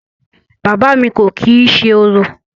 Bàbá à mi kò kìí ṣe orò.